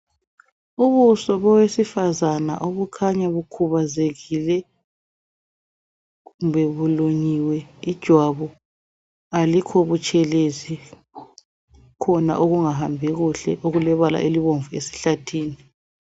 Ubuso bowesifazana obukhanya bukhubazekile kumbe bulunyiwe ijwabu alikho butshelezi, kukhona okungahambi kuhle okulebala elibomvu esihlathini.